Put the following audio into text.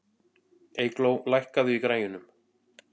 Eygló, lækkaðu í græjunum.